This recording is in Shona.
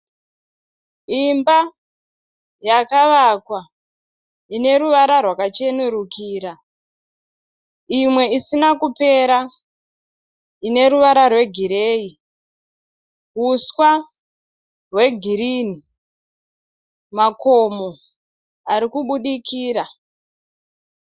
Imba yakavakwa ineruvara rwakachenurukira. Imwe isina kupera, ineruvara rwegireyi. Uswa hwegirinhi makomo arikubudikira.